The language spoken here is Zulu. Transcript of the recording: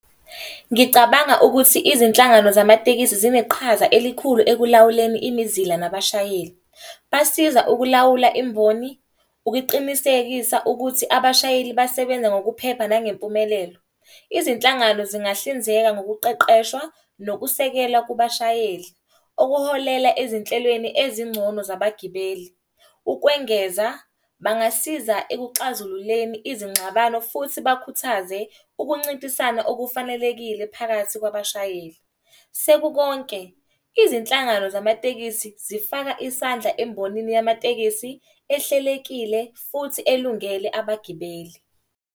Ngicabanga ukuthi izinhlangano zamatekisi zineqhaza elikhulu ekulawuleni imizila nabashayeli. Basiza ukulawula imboni, ukuqinisekisa ukuthi abashayeli basebenza ngokuphepha nangempumelelo. Izinhlangano zingahlinzeka ngokuqeqeshwa nokusekela kubashayeli. Okuholela ezinhlelweni ezingcono zabagibeli. Ukwengeza, bangasiza ekuxazululeni izingxabano futhi bakhuthaze ukuncintisana okufanelekile phakathi kwabashayeli. Sekukonke, izinhlangano zamatekisi zifaka isandla embonini yamatekisi ehlelekile futhi elungele abagibeli.